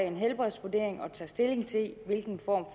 en helbredsvurdering og tage stilling til hvilken form